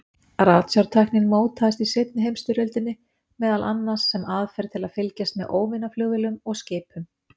Ratsjártæknin mótaðist í seinni heimsstyrjöldinni, meðal annars sem aðferð til að fylgjast með óvinaflugvélum og-skipum.